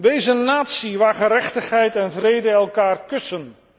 Wees een natie waar gerechtigheid en vrede elkaar kussen.